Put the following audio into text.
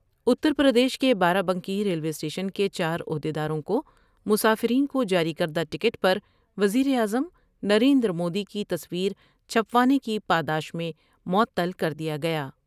اتر پردیش کے بارہ Banki railway station کے چارعہد یداروں کو مسافرین کو جاری کر دہ ٹکٹ پر وزیر اعظم نریندرمودی کی تصویر چھپوانے کی پاداش میں معطل کردیا گیا ۔